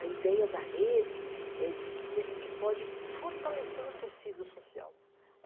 A ideia da rede é de que a gente pode fortalecer um tecido social.